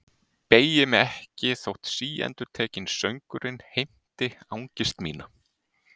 Beygi mig ekki þótt síendurtekinn söngurinn heimti angist mína.